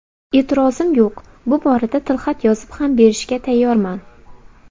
E’tirozim yo‘q, bu borada tilxat yozib ham berishga tayyorman.